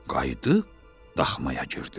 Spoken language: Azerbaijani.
Qayıdıb daxmaya girdilər.